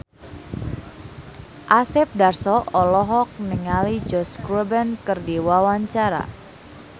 Asep Darso olohok ningali Josh Groban keur diwawancara